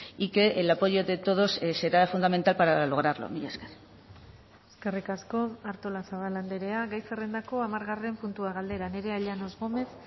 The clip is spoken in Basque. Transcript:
y que el apoyo de todos será fundamental para lograrlo mila esker eskerrik asko artolazabal andrea gai zerrendako hamargarren puntua galdera nerea llanos gómez